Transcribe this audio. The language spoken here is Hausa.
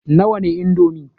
Nawa ne indomi?